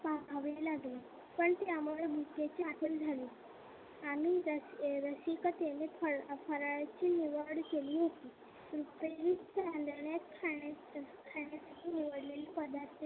पहावे लागले पण त्यामुळे भुकेची आठवण झाली आम्ही रसिकतेने फराळाची निवड केली होती. रुपेरी चांदण्यात खाण्याचे निवडलेले पदार्थ